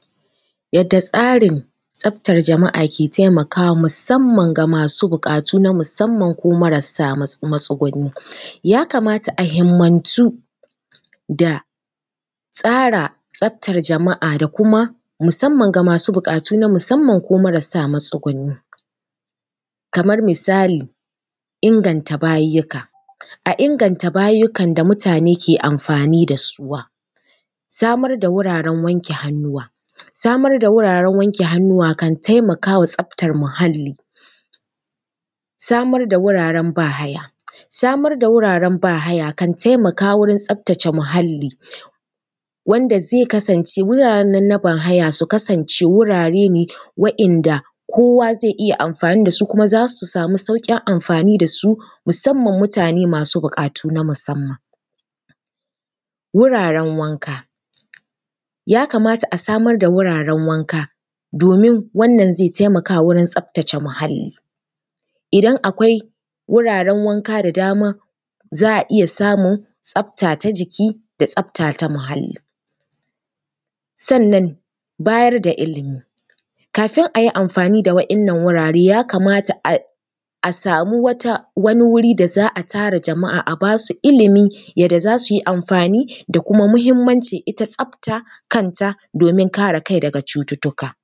Yadda tsarin tsaftar jama’a ke taimakawa musamman ga masu buƙatu na musamman ko marasa matsuguni. Ya kamata a himmantu da tsara tsaftar jama’a da kuma musamman ga masu buƙatu na musamman ko marasa matsuguni. Kamar misali, inganta bayiyyika, a inganta bayiyyikan da mutane ke amfani da su. Samar da wuraren wanke hannuwa, samar da wuraren wanke hannuwa kan taimaka wa tsaftar muhalli. Samar da wuraren ba-haya, samar da wuraren ba-haya kan taimaka wajen tsaftace muhalli, wanda zai kasance wuraren nan na ba-haya su kasance wurare ne waɗanda kowa zai iya amfani da su kuma za su samu sauƙin amfani da su musamman mutane masu buƙatu na musamman. Wuraren wanka, ya kamata a samar da wuraren wanka domin wannan zai taimaka wajen tsaftace muhalli. Idan akwai wuraren wanka da dama, za a iya samun tsafta ta jiki da tsafta ta muhalli. Sannan bayar da ilimi, kafin a yi amfani da waɗannan wurare, ya kamata a samu wata… wani wuri da za a tara jama’a a ba su ilimi, yadda za su yi amfani da kuma muhimmancin ita tsafta kanta domin kare kai daga cututtuka.